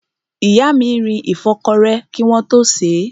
Ìyá mi rin ìfọ́kọrẹ́ kí wọ́n tó sèé.